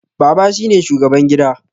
Baba shine shugaban gida